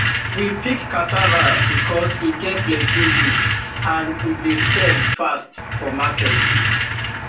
we pick cassava because e get plenty use and e dey sell fast for market